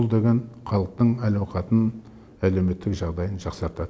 бұл деген халықтың әл ауқатын әлеуметтік жағдайын жақсартады